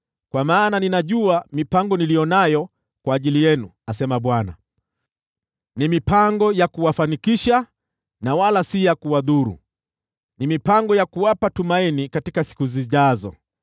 Kwa maana ninajua mipango niliyo nayo kwa ajili yenu,” asema Bwana , “ni mipango ya kuwafanikisha na wala si ya kuwadhuru, ni mipango ya kuwapa tumaini katika siku zijazo.